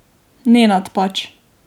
Nenad pač.